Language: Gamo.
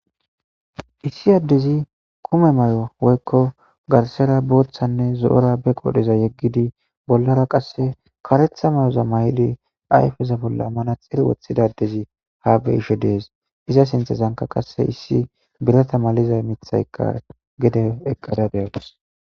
issi addezi kume may7o woykko garsera booththanne zo7ora be qodheza yeggidi bollara qasse karetha mayoza may7di ayfeza bolla amana xir wothidadezi haa be ishe dees iza sinthezanka qasse issi birata malizay mithayka gede eqqada geyagus